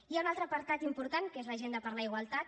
hi ha un altre apartat important que és l’agenda per a la igualtat